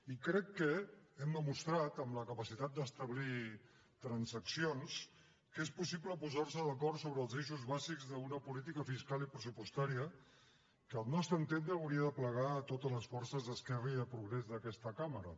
i crec que hem demostrat amb la capacitat d’establir transaccions que és possible posar se d’acord sobre els eixos bàsics d’una política fiscal i pressupostària que al nostre entendre hauria d’aplegar totes les forces d’esquerra i de progrés d’aquesta cambra